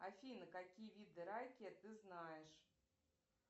афина какие виды райкия ты знаешь